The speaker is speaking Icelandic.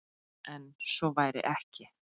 En svo væri ekki.